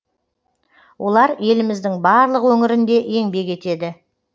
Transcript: олар еліміздің барлық өңірінде еңбек етеді